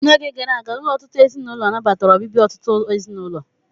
N'oge gara aga, ụlọ ọtụtụ ezinụlọ nabatara obibi ọtụtụ ezinụlọ.